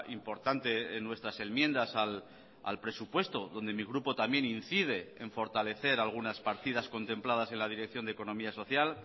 importante en nuestras enmiendas al presupuesto donde mi grupo también incide en fortalecer algunas partidas contempladas en la dirección de economía social